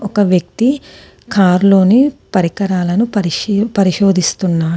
ఒక వ్యక్తి కారులోని పరికరాలను పరిశీ-పరిశోధిస్తున్నాడు.